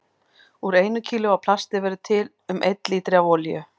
Úr einu kílói af plasti verður til um einn lítri af olíu.